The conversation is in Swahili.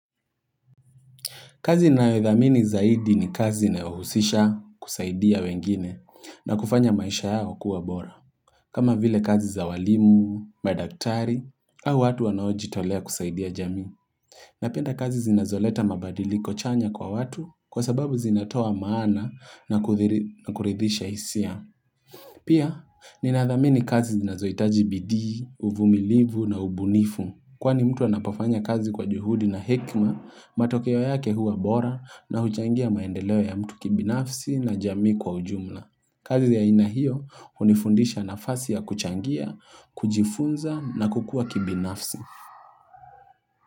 Kazi nayodhamini zaidi ni kazi inayohusisha kusaidia wengine na kufanya maisha yao kuwa bora. Kama vile kazi za walimu, madaktari, au watu wanaojitolea kusaidia jamii. Napenda kazi zinazoleta mabadiliko chanya kwa watu kwa sababu zinatoa maana na kuridhisha hisia. Pia, ninadhamini kazi zinazohitaji bidii, uvumilivu na ubunifu. Kwani mtu anapofanya kazi kwa juhudi na hekima, matokeo yake huwa bora na huchangia maendeleo ya mtu kibinafsi na jamii kwa ujumla. Kazi ya aina hio hunifundisha nafasi ya kuchangia, kujifunza na kukua kibinafsi.